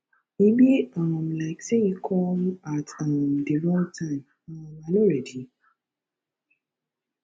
e be um like say you come at um the wrong time um i no ready